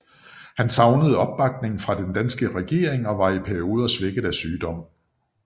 Han savnede opbakning fra den danske regering og var i perioder svækket af sygdom